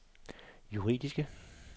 juridiske